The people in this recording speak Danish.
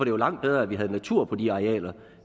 jo langt bedre at vi havde natur på de arealer